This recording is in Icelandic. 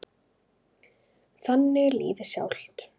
Þannig er lífið sjálft.